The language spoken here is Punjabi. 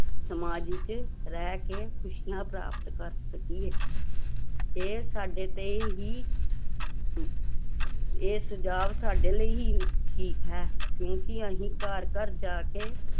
ਸਮਾਜ ਵਿੱਚ ਰਹਿ ਕੇ ਖ਼ੁਸ਼ੀਆਂ ਪ੍ਰਾਪਤ ਕਰ ਸਕੀਏ ਇਹ ਸਾਡੇ ਤੇ ਹੀ ਇਹ ਸੁਝਾਵ ਸਾਡੇ ਲਈ ਹੀ ਠੀਕ ਹੈ ਕਿਉਂਕਿ ਅਸੀਂ ਘਰ ਘਰ ਜਾ ਕੇ